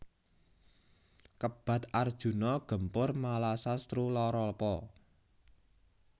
Kebat Arjuna gempur malasatruLaralapa